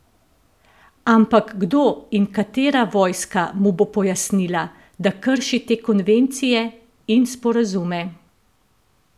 Ampak kdo in katera vojska mu bo pojasnila, da krši te konvencije in sporazume?